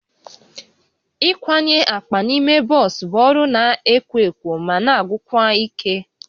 Ịkwanye akpa n'ime bọs bụ ọrụ na-ekwo ekwo ma na-agwụkwa ike